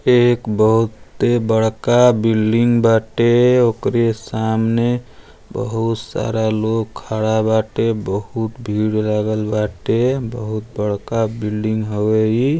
एक बहुते बड़का बिल्डिंग बाटे। ओकरे सामने बहुत सारा लोग खड़ा बाटे। बहुत भीड़ लागल बाटे। बहुत बड़का बिल्डिंग हवे इ।